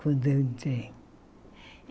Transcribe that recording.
Quando eu entrei.